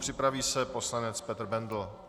Připraví se poslanec Petr Bendl.